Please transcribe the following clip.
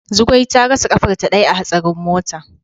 Zugwai ta rasa kafarta daya a hatsarin mota.